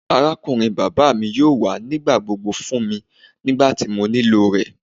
Arakunrin baba mi yoo wa nigbagbogbo fun mi nigbati mo nilo rẹ.